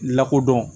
Lakodɔn